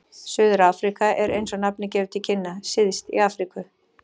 Suður-Afríka er, eins og nafnið gefur til kynna, syðst í Afríku.